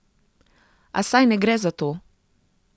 A saj ne gre za to!